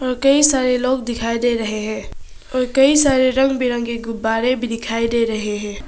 कई सारे लोग दिखाई दे रहे हैं और कई सारे रंग बिरंगे गुब्बारे भी दिखाई दे रहे हैं।